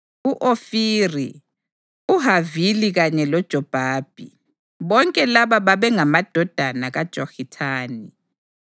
u-Ofiri, uHavila kanye loJobhabhi. Bonke laba babengamadodana kaJokithani.